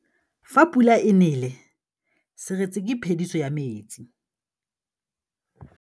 Fa pula e nelê serêtsê ke phêdisô ya metsi.